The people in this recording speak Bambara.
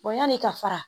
yanni ka fara